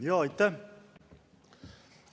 Aitäh!